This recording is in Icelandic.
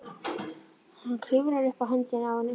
Hann klifrar upp á höndina á henni.